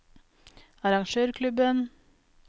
arrangørklubben